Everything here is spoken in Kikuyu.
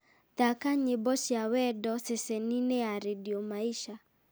thaaka nyĩmbo cia wendo ceceni-inĩ ya rĩndiũ maisha